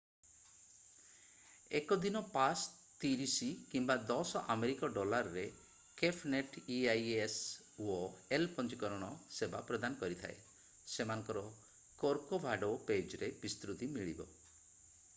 1 ଦିନ ପାସ୍ 30 କିମ୍ବା 10 ଆମେରିକୀୟ ଡଲାର୍ ରେ କେଫ୍ ନେଟ୍ ଇଆଇ ଏସ୍ ଓ ଏଲ୍ ପଞ୍ଜୀକରଣ ସେବା ପ୍ରଦାନ କରିଥାଏ ; ସେମାନଙ୍କର କର୍କୋଭାଡୋ ପେଜ୍ ରେ ବିସ୍ତୃତି ମିଳିବ।